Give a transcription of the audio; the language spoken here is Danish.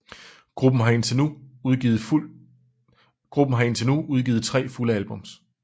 Gruppen har indtil nu udgivet tre fulde album